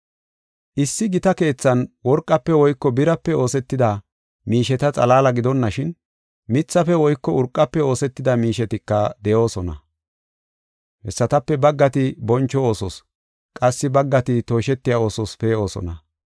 Issi gita keethan worqafe woyko birape oosetida miisheta xalaala gidonashin, mithafe woyko urqafe oosetida miishetika de7oosona. Hessatape baggati boncho oosos, qassi baggati tooshetiya oosos pee7osona.